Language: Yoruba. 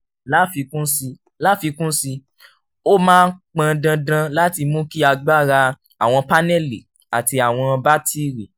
láfikún sí láfikún sí i ó máa pọn dandan láti mú kí agbára àwọn paneli àti àwọn batiri